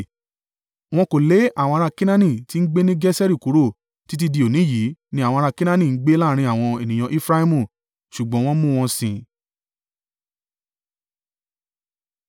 Wọn kò lé àwọn ara Kenaani tí ń gbé ni Geseri kúrò, títí di òní yìí ni àwọn ará Kenaani ń gbé láàrín àwọn ènìyàn Efraimu, ṣùgbọ́n wọ́n mú wọ́n sìn.